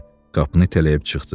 Qapını itələyib çıxdı.